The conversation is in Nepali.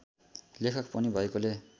लेखक पनि भएकोले